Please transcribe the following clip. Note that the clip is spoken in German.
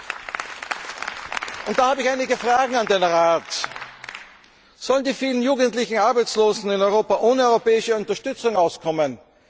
Ich habe einige Fragen an den Rat Sollen die vielen jugendlichen Arbeitslosen in Europa ohne europäische Unterstützung auskommen?